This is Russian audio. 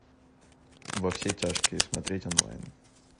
во все тяжкие смотреть онлайн